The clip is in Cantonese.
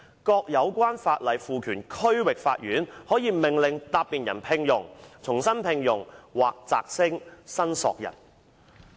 各有關法例賦權區域法院可命令答辯人聘用、重新聘用或擢升申索人"。